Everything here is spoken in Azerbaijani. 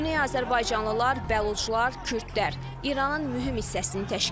Güney azərbaycanlılar, bəluçlar, kürdlər İranın mühüm hissəsini təşkil edir.